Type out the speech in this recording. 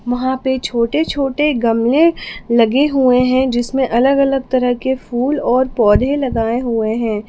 वहां पे छोटे छोटे गमले लगे हुए हैं जिसमें अलग अलग तरह के फूल और पौधे लगाए हुए हैं।